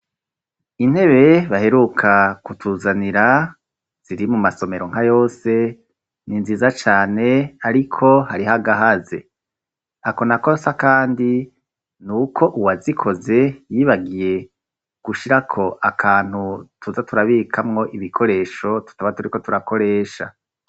Intebe baheruka kutuzanira ziri mu masomero nka yose ni nziza cane ariko hariho agahaze ako nako s'akandi n'uko uwa zikoze yibagiye gushirako akantu tuza turabikamwo ibikoresho tutaba turiko turakoresha.